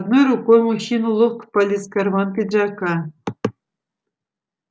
одной рукой мужчина ловко полез в карман пиджака